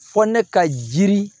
Fɔ ne ka jiri